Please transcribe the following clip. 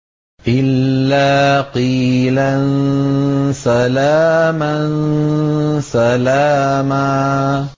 إِلَّا قِيلًا سَلَامًا سَلَامًا